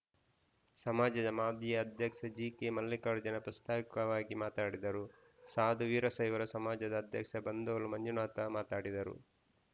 ಸಮಾಜದ ಮಾಜಿ ಅಧ್ಯಕ್ಷ ಜಿಕೆ ಮಲ್ಲಿಕಾರ್ಜುನ ಪ್ರಾಸ್ತಾವಿಕವಾಗಿ ಮಾತನಾಡಿದರು ಸಾಧು ವೀರಶೈವರ ಸಮಾಜದ ಅಧ್ಯಕ್ಷ ಬಂದೋಳು ಮಂಜುನಾಥ ಮಾತಾಡಿದರು